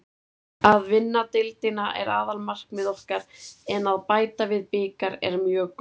Að vinna deildina er aðalmarkmið okkar en að bæta við bikar er mjög gott.